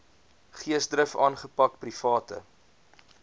geesdrif aangepak private